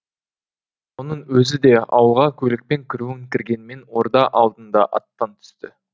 оның өзі де ауылға көлікпен кіруін кіргенмен орда алдында аттан түсті